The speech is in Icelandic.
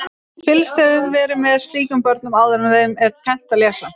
Fylgst hefur verið með slíkum börnum áður en þeim er kennt að lesa.